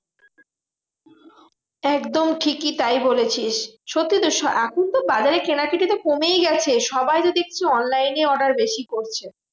একদম ঠিকই তাই বলেছিস। সত্যি তো এখন তো বাজারে কেনাকাটি তো কমেই গেছে। সবাই তো দেখছি online এ order বেশি করছে।